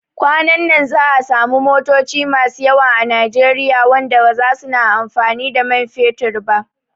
Kwanan nan za'a samu motoci masu yawa a Nijeriya wanda baza suna amfani da man fetur ba